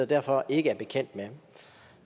derfor ikke er bekendt med